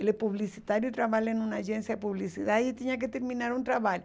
Ele é publicitário e trabalha em uma agência de publicidade e tinha que terminar um trabalho.